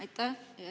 Aitäh!